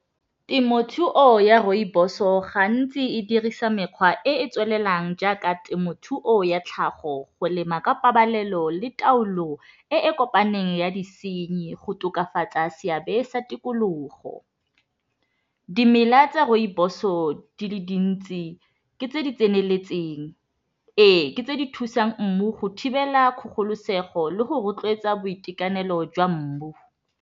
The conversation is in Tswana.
Temothuo ya rooibos-o gantsi e dirisa mekgwa e e tswelelang jaaka temothuo ya tlhago go lema ka pabalelo le taolo e e kopaneng ya disenyi go tokafatsa seabe sa tikologo, dimela tsa rooibos-o di le dintsi ke tse di tseneletseng, ee ke tse di thusang mmu go thibela kgogolosego le go rotloetsa boitekanelo jwa mmu.